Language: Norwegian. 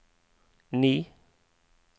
ni